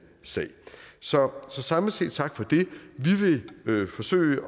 sag så samlet set tak for det vi vil forsøge